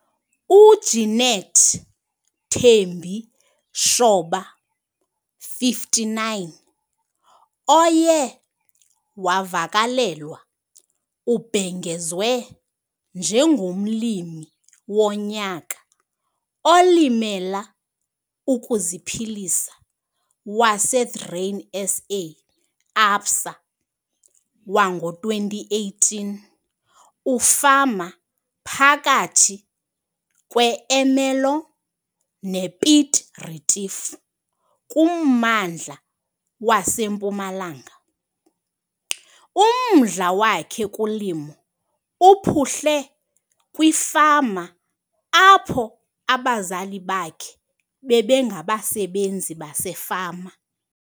UJeneth Thembi Shoba, 59, oye wavakalelwa ubhengezwe njengomLimi woNyaka oLimela ukuziPhilisa waseGrainSA - Absa wango-2018, Ufama phakathi kweErmelo nePiet Retief kummandla waseMpumalanga. Umdla wakhe kulimo uphuhle kwifama apho abazali bakhe bebengabasebenzi basefama.